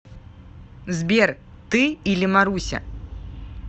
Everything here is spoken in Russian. сбер ты или маруся